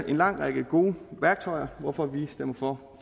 en lang række gode værktøjer hvorfor vi stemmer for